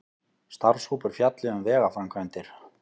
Starfshópur fjalli um vegaframkvæmdir